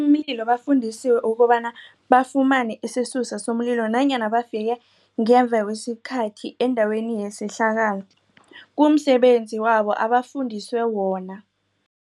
bafundisiwe ukobana bafumane isisusa somlilo nanyana bafike ngemva kwesikhathi endaweni yesehlakalo kumsebenzi wabo abafundiswe wona.